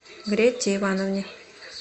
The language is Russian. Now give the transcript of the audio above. грете ивановне